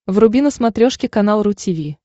вруби на смотрешке канал ру ти ви